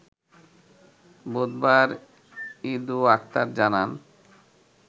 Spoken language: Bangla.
বুধবার ইদু আকতার জানান